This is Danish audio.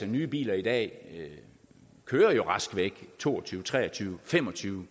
nye biler i dag kører jo rask væk to og tyve tre og tyve fem og tyve